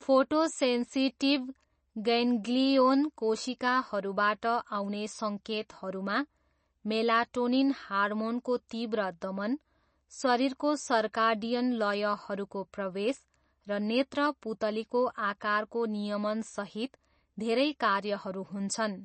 Photosensitive ganglion कोशिकाहरूबाट आउने सङ्केतहरूमा मेलाटोनिन हर्मोनको तीव्र दमन, शरीरको सर्काडियन लयहरूको प्रवेश र नेत्र पुतलीको आकारको नियमनसहित धेरै कार्यहरू हुन्छन्।